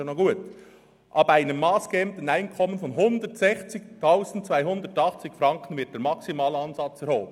» Das ist noch gut, und weiter: «ab einem massgebenden Einkommen von 160 280 Franken wird der Maximalansatz erhoben.